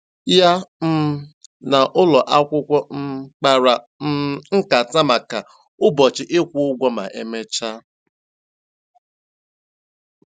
Ya um na ụlọ akwụkwọ um kpara um nkata maka ụbọchị ịkwụ ụgwọ ma emechaa.